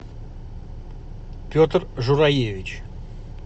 петр жураевич